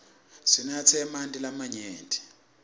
sinatse emanti lamanyenti